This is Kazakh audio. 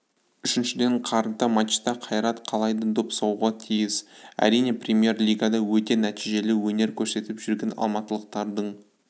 үшіншіден қарымта матчта қайрат қалайда доп соғуға тиіс әрине пермьер-лигада өте нәтижелі өнер көрсетіп жүрген алматылықтардың